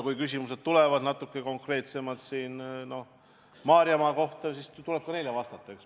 Kui küsimused tulevad natuke konkreetsemalt Maarjamaa kohta, siis eks tuleb ka neile vastata.